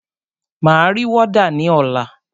Máa ri wọ́dà ní ọ̀la.